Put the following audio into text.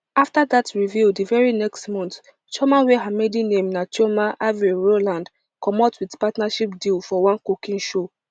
afta dat reveal di very next month chioma wey her maiden name na chioma avril rowland comot wit partnership deal for one cooking show